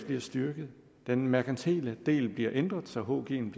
bliver styrket den merkantile del bliver ændret så hgen bliver en